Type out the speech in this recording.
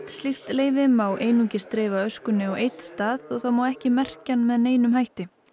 leyfi má einungis dreifa öskunni á einn stað og það má ekki merkja hann með neinum hætti